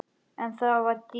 En þetta var dýrið okkar.